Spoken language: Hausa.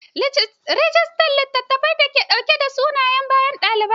Rijista littafine da ke ɗauke da suna da bayanan ɗalibai.